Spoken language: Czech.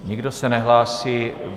Nikdo se nehlásí.